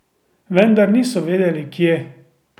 Vendar niso vedeli kje.